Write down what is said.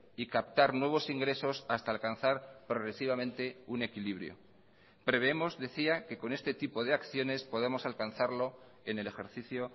y captar nuevos ingresos hasta alcanzar progresivamente un equilibrio prevemos decía que con este tipo de acciones podamos alcanzarlo en el ejercicio